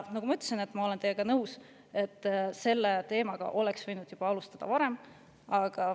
Nagu ma ütlesin, ma olen teiega nõus, et selle teemaga oleks võinud alustada juba varem.